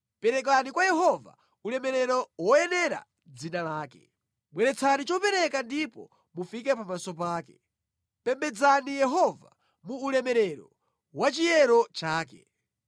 perekani kwa Yehova ulemerero woyenera dzina lake. Bweretsani chopereka ndipo mufike pamaso pake; pembedzani Yehova mu ulemerero wachiyero chake.